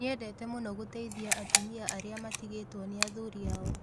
Nĩendete mũno gũteithia atumia arĩa matigĩtwo nĩ athuri ao